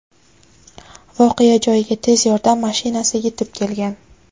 voqea joyiga tez yordam mashinasi yetib kelgan.